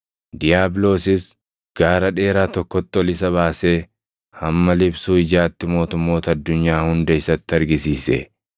Diiyaabiloosis gaara dheeraa tokkotti ol isa baasee hamma liphsuu ijaatti mootummoota addunyaa hunda isatti argisiise.